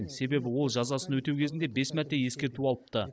себебі ол жазасын өтеу кезінде бес мәрте ескерту алыпты